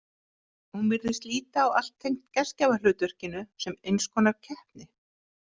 Hún virðist líta á allt tengt gestgjafahlutverkinu sem eins konar keppni.